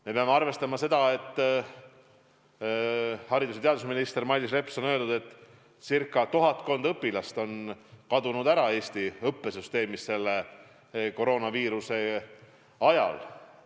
Me peame arvestama seda, et haridus- ja teadusminister Mailis Reps on öelnud, et tuhatkond õpilast on Eesti õppesüsteemist koroonaviiruse ajal ära kadunud.